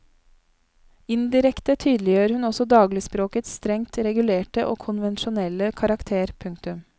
Indirekte tydeliggjør hun også dagligspråkets strengt regulerte og konvensjonelle karakter. punktum